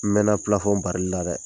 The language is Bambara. N mɛna pilafɔn bari la dɛ